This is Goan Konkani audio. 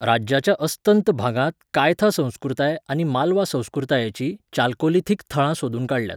राज्याच्या अस्तंत भागांत कायथा संस्कृताय आनी मालवा संस्कृतायेचीं चाल्कोलिथिक थळां सोदून काडल्यात.